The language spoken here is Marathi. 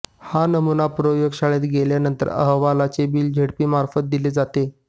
हा नमुना प्रयोगशाळेत गेल्यानंतर अहवालाचे बिल झेडपीमार्फत दिले जाते